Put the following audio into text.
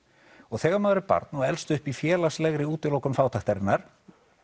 þegar maður er barn og elst upp í félagslegri útilokun fátæktarinnar